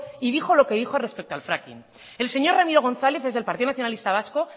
y dijo lo que dijo respecto al fracking el señor ramiro gonzález es el partido nacionalista vasco